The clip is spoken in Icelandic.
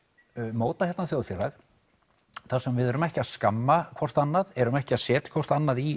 móta hérna þjóðfélag þar sem við erum ekki að skamma hvort annað erum ekki að setja hvort annað í